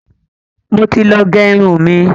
mọ tí lọ gé irun mí.